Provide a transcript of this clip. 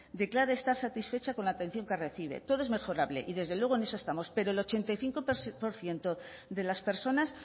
declara estar satisfecha con la atención que recibe todo es mejorable y desde luego en eso estamos pero el ochenta y cinco por ciento de las personas